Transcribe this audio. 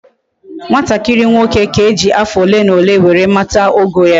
Nwatakiri nwoke ka eji afo ole na ole were mata ogo ya